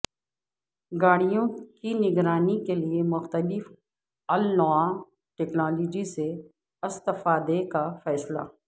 گاڑیوں کی نگرانی کیلئے مختلف النوع ٹیکنالوجی سے استفادے کا فیصلہ